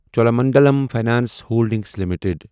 Cholamandalam financial holdings limited